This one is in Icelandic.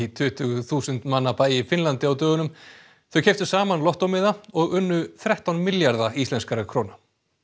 tuttugu þúsund manna bæ í Finnlandi á dögunum þau keyptu saman lottómiða og unnu þrettán milljarða íslenskra króna